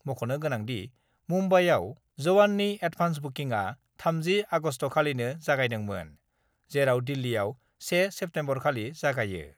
मख'नो गोनांदि, मुम्बाइआव 'जवान'नि एडभान्स बुकिंआ 30 आगस्टखालिनो जागायदोंमोन, जेराव दिल्लीआव 1 सेप्तेम्बरखालि जागायो।